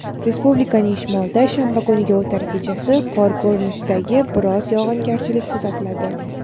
Respublikaning shimolida shanba kuniga o‘tar kechasi qor ko‘rinishidagi biroz yog‘ingarchilik kuzatiladi.